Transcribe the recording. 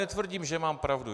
Netvrdím, že mám pravdu.